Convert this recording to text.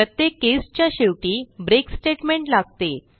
प्रत्येक केस च्या शेवटी ब्रेक स्टेटमेंट लागते